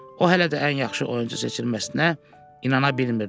O hələ də ən yaxşı oyunçu seçilməsinə inana bilmirdi.